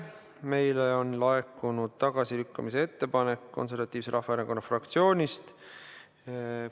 Meile on laekunud tagasilükkamise ettepanek Eesti Konservatiivse Rahvaerakonna fraktsioonist.